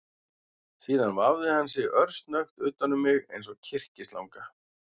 Síðan vafði hann sig örsnöggt utan um mig eins og kyrkislanga